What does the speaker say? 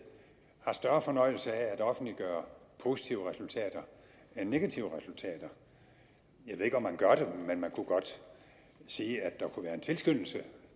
har større fornøjelse af at offentliggøre positive resultater end negative resultater jeg ved ikke om man gør det men man kunne godt sige at der kunne være en tilskyndelse